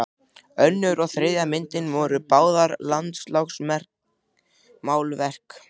Önnur og þriðja myndin voru báðar landslagsmálverk.